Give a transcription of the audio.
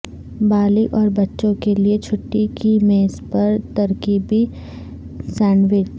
بالغ اور بچوں کے لئے چھٹی کی میز پر ترکیبیں سینڈوچ